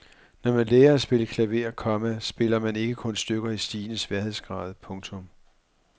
Når man lærer at spille klaver, komma spiller man ikke kun stykker i stigende sværhedsgrad. punktum